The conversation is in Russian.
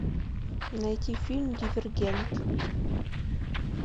найти фильм дивергент